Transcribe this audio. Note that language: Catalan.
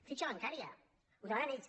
fitxa bancària ho demanen ells